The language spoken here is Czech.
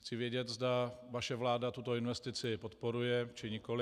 Chci vědět, zda vaše vláda tuto investici podporuje, či nikoliv.